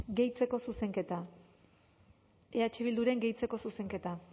gehitzeko zuzenketa eh bilduren gehitzeko zuzenketa